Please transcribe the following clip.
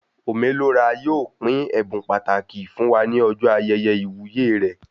Ome Lo Ra yóò pín ẹbùn pàtàkì fún wá ní ọjọ ayẹyẹ iwuye rẹ